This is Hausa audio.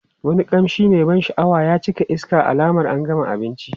Wani kamshi mai ban sha'awa ya cika iska alamar an gama abinci.